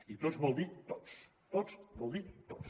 i tots vol dir tots tots vol dir tots